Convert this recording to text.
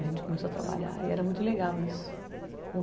A gente começou a trabalhar e era muito legal isso.